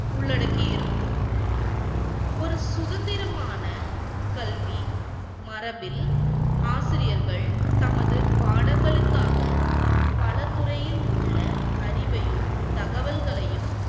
உள்ளடக்கி இருக்கும். ஒரு சுதந்திரமான கல்வி மரபில் ஆசிரியர்கள் தமது படங்களுக்காக பலத்துறையிலுள்ள அறிவையும் தகவல்களையும்,